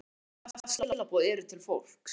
Og hvaða skilaboð eru til fólks?